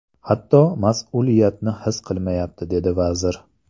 Hatto mas’uliyatni his qilmayapti”, dedi vazir.